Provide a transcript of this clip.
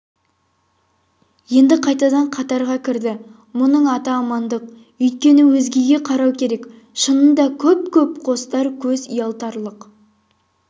енді қайтадан қатарға кірді мұның аты амандық өйткені өзгеге қарау керек шынында көп-көп қостар көз ұялтарлық